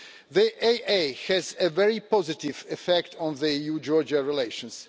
The AA has a very positive effect on EU-Georgia relations.